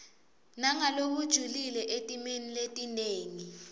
nangalokujulile etimeni letinengi